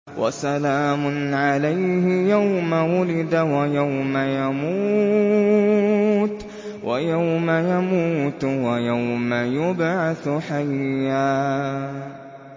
وَسَلَامٌ عَلَيْهِ يَوْمَ وُلِدَ وَيَوْمَ يَمُوتُ وَيَوْمَ يُبْعَثُ حَيًّا